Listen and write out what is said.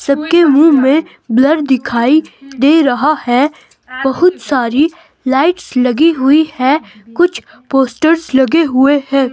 सबके मुंह में ब्लर दिखाई दे रहा है और बहुत सारी लाइट्स लगी हुई है। कुछ पोस्टर्स लगे हुए हैं।